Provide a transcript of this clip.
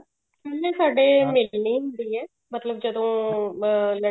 ਉਵੇਂ ਸਾਡੇ ਮਿਲਣੀ ਹੁੰਦੀ ਹੈ ਮਤਲਬ ਜਦੋਂ ਅਹ